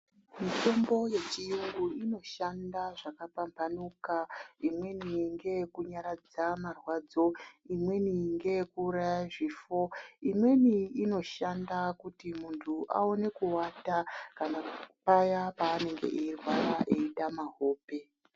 Mitombo yechiyungu inoshanda zvakapamhanuka imweni ngeyekunyaradza marwadzo, imweni ngeyekuuraya zvifo, imweni inoshanda kuti muntu awone kuwata kana paya panenge veirwara eitama hope.